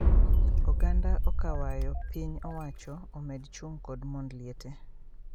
Oganda okawayo piny owacho omed chung kod mond liete